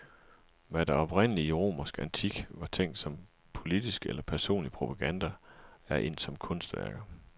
Hvad der oprindelig, i romersk antik, var tænkt som politisk eller personlig propaganda, er endt som kunstværker.